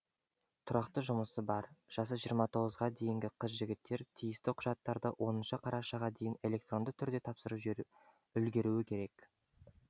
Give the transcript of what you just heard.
тұрақты жұмысы бар жасы жиырма тоғызға дейінгі қыз жігіттер тиісті құжаттарды оныншы қарашаға дейін электронды түрде тапсырып үлгеруі керек